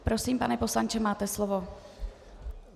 Prosím, pane poslanče, máte slovo.